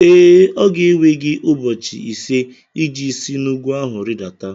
Ee, ọ ga-ewe gị ụbọchị ise iji si n'ugwu ahụ rịdata